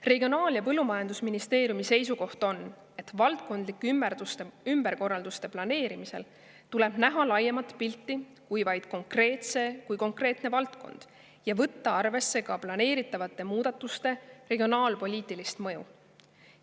Regionaal- ja Põllumajandusministeeriumi seisukoht on, et valdkondlike ümberkorralduste planeerimisel tuleb näha laiemat pilti kui vaid konkreetne valdkond ja võtta arvesse ka planeeritavate muudatuste regionaalpoliitilist mõju.